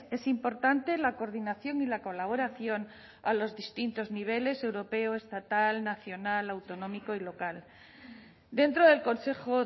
es importante la coordinación y la colaboración a los distintos niveles europeo estatal nacional autonómico y local dentro del consejo